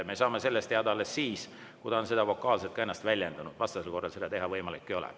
Me saame seda teada alles siis, kui ta on vokaalselt ennast väljendanud, vastasel korral ei ole see võimalik.